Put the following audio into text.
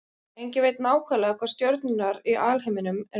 Enginn veit nákvæmlega hvað stjörnurnar í alheiminum eru margar.